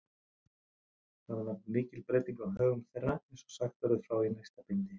Þá varð mikil breyting á högum þeirra, eins og sagt verður frá í næsta bindi.